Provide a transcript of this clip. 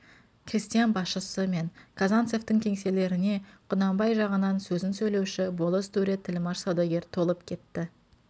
крестьян басшысы мен казанцевтің кеңселеріне құнанбай жағының сөзін сөйлеуші болыс төре тілмаш саудагер толып кетті